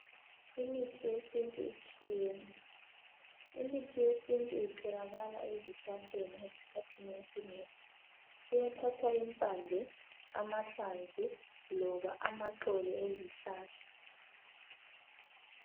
Imithi yesintu itshiyene imithi yesintu itholakala ezihlahleni ezikhathini ezinengi, kuyathathwa impande, amahlamvu loba amaxolo ezihlahla.